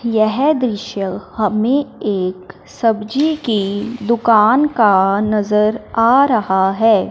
यह दृश्य हमें एक सब्जी की दुकान का नजर आ रहा है।